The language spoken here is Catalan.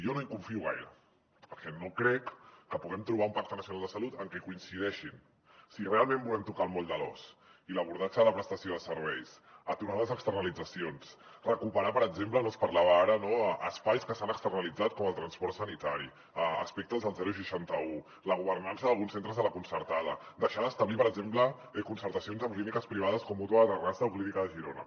jo no hi confio gaire perquè no crec que puguem trobar un pacte nacional de salut en què coincideixin si realment volem tocar el moll de l’os i l’abordatge de la prestació de serveis aturar les externalitzacions recuperar per exemple se’n parlava ara no espais que s’han externalitzat com el transport sanitari aspectes del seixanta un la governança d’alguns centres de la concertada deixar d’establir per exemple concertacions amb clíniques privades com mútua de terrassa o clínica de girona